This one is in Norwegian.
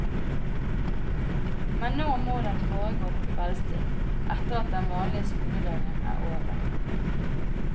Men nå må den foregå på kveldstid, etter at den vanlige skoledagen er over.